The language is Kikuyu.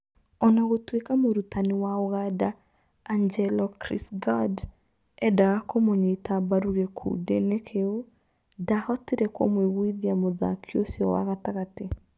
O na gũtuĩka mũrutani wa Ũganda Angelo Chris Gourd eendaga kũmũnyita mbaru gĩkundi-inĩ kĩu, ndahotire kũmwiguthia mũthaki ũcio wa gatagatĩ.